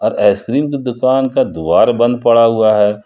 Ice cream की दुकान का द्वार बंद पड़ा हुआ है।